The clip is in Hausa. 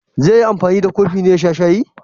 Zai yi anfani da kofin ne ya sha shayi?